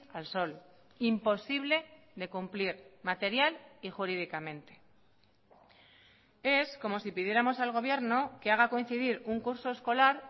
al sol imposible de cumplir material y jurídicamente es como si pidiéramos al gobierno que haga coincidir un curso escolar